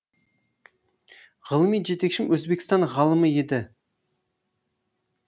ғылыми жетекшім өзбекстан ғалымы еді